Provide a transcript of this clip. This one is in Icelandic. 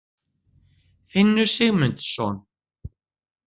Finnur Sigmundsson.